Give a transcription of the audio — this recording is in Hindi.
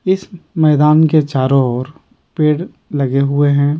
इस ममैदान के चारों ओर पेड़ लगे हुए हैं।